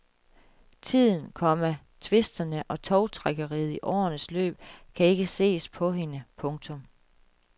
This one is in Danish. Tiden, komma tvisterne og tovtrækkeriet i årenes løb kan ikke ses på hende. punktum